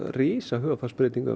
risa hugarfarsbreytingu